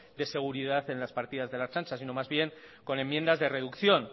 de seguridad en las partidas de la ertzaintza sino más bien con enmiendas de reducción